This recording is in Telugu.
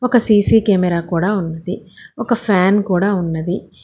ఒక సీ_సీ కెమెరా కూడా ఉంది ఒక ఫ్యాన్ కూడా ఉన్నది.